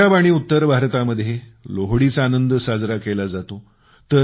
पंजाब आणि उत्तर भारतामध्ये लोहडीचा आनंद साजरा केला जातो